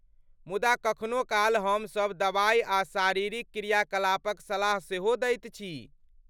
मुदा कखनो काल हमसभ दवाइ आ शारीरिक क्रियाकलापक सलाह सेहो दैत छी।